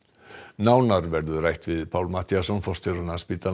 nánar verður rætt við Pál Matthíasson forstjóra Landspítalans